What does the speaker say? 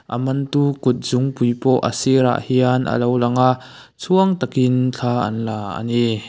aman tu kutzungpui pawh a sirah hian alo lang a chhuang takin thla an la a ni.